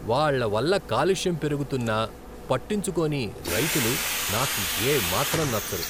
వాళ్ళ వల్ల కాలుష్యం పెరుగుతున్నా పట్టించుకోని రైతులు నాకు ఏ మాత్రం నచ్చరు.